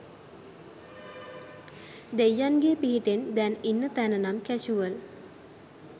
දෙයියන්ගේ පිහිටෙන් දැන් ඉන්න තැන නම් කැෂුවල්!